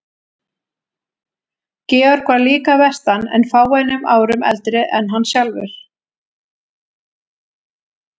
Georg var líka að vestan en fáeinum árum eldri en hann sjálfur.